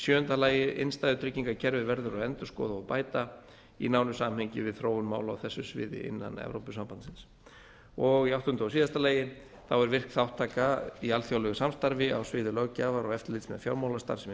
sjöunda innstæðutryggingakerfið verður að endurskoða og bæta í nánu samhengi við þróun mála á þessu sviði innan e s b áttunda virk þátttaka í alþjóðlegu samstarfi á sviði löggjafar og eftirlits með fjármálastarfsemi er